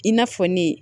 I n'a fɔ ne